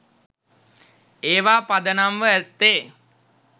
ඒවා පදනම්ව ඇත්තේ